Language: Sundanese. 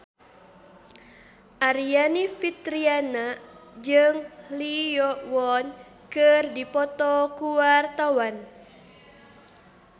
Aryani Fitriana jeung Lee Yo Won keur dipoto ku wartawan